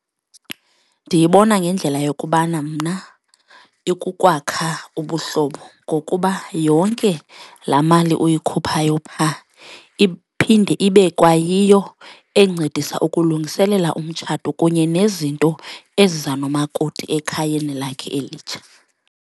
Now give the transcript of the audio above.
Ndiyibona ngendlela yokubana mna ikuwakha ubuhlobo ngokuba yonke laa mali uyikhuphayo phaa iphinde ibe kwayiyo encedisa ukulungiselela umtshato kunye nezinto eziza nomakoti ekhayeni lakhe elitsha.